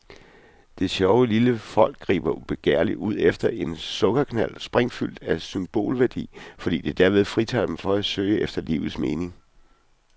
Det sjove lille folk griber begærligt ud efter en sukkerknald sprængfuld af symbolværdi, fordi det derved fritager dem for at søge efter livets mening.